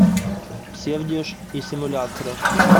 псевдеж и симулякры